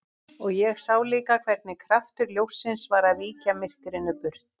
Og ég sá líka hvernig kraftur ljóssins var að víkja myrkrinu burt.